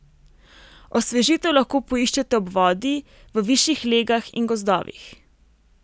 Osvežitev lahko poiščete ob vodi, v višjih legah in gozdovih.